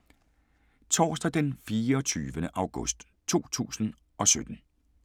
Torsdag d. 24. august 2017